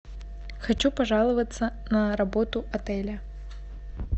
хочу пожаловаться на работу отеля